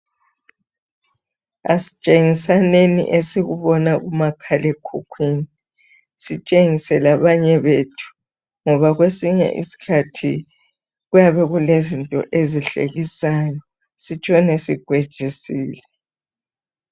Asitshengisaneni esikubona kumakhalekhukhwini sitshengise labanye bethu ngoba kwesinye isikhathi kuyabe kulezinto ezihlekisayo sitshone sikwejisile.